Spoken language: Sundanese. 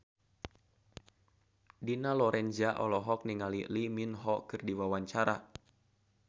Dina Lorenza olohok ningali Lee Min Ho keur diwawancara